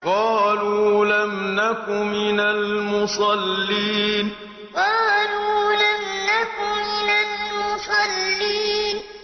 قَالُوا لَمْ نَكُ مِنَ الْمُصَلِّينَ قَالُوا لَمْ نَكُ مِنَ الْمُصَلِّينَ